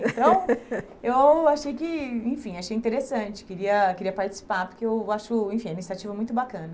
Então, eu achei que, enfim, achei interessante, queria queria participar, porque eu acho, enfim, é uma iniciativa muito bacana.